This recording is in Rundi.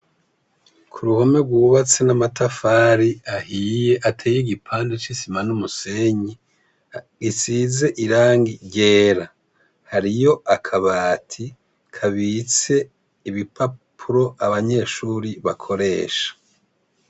K'uruhome rwubatse n'amatafari ahiye, ateye igipande c'isima n'umusenyi , isize irangi ryera, hariyo akabati kabitse ibipapuro abanyeshuri bakoresha.